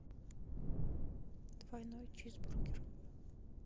двойной чизбургер